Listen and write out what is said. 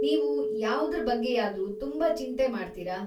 ನೀವು ಯಾವ್ದ್ರ ಬಗ್ಗೆಯಾದ್ರೂ ತುಂಬಾ ಚಿಂತೆ ಮಾಡ್ತೀರಾ?